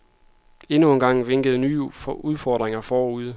Endnu engang vinkede nye udfordringer forude.